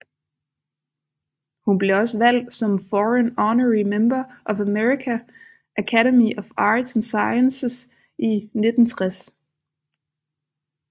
Hun blev også valgt som Foreign Honorary Member af American Academy of Arts and Sciences i 1960